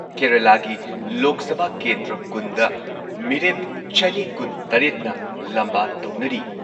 ꯀꯦꯔꯂꯥꯒꯤ ꯂꯣꯛ ꯁꯚꯥ ꯀꯦꯟꯗ꯭ꯔ ꯀꯨꯟꯗ ꯃꯤꯔꯦꯞ ꯆꯅꯤ ꯀꯨꯟꯇꯔꯦꯠꯅ ꯂꯝꯕꯥ ꯇꯧꯅꯔꯤ꯫